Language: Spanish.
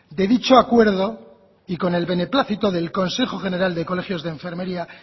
de dicho acuerdo y con el beneplácito del consejo general del colegio de enfermería